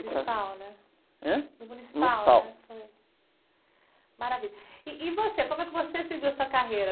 No Municipal, né?h?o Municipal, né? Foi?o Municipal.aravilha, ih, e você, como é que você seguiu sua carreira?